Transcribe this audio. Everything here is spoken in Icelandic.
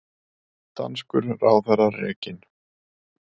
Danskur ráðherra rekinn